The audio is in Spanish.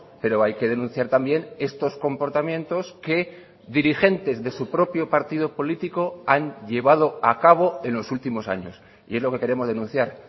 pero hay que denunciar también estos comportamientos que dirigentes de su propio partido político han llevado a cabo en los últimos años y es lo que queremos denunciar